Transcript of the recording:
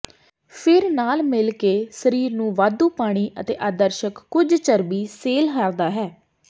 ਫਿਰ ਨਾਲ ਮਿਲ ਕੇ ਸਰੀਰ ਨੂੰ ਵਾਧੂ ਪਾਣੀ ਅਤੇ ਆਦਰਸ਼ਕ ਕੁਝ ਚਰਬੀ ਸੈੱਲ ਹਾਰਦਾ ਹੈ